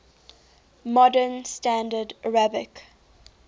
modern standard arabic